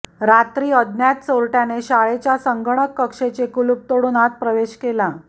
रात्री अज्ञात चोरट्याने शाळेच्या संगणक कक्षाचे कुलूप तोडून आत प्रवेश केला